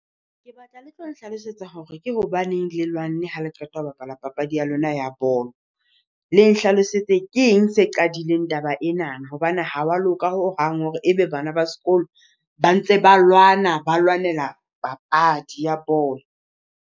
Ke batla le tlo nhlalosetsa hore ke hobaneng le lwanne ha le qeta ho bapala papadi ya lona ya bolo. Le nhlalosetse keng se qadileng taba enana, hobane ha wa loka hohang ebe bana ba sekolo ba ntse ba lwana ba lwanela papadi ya bolo.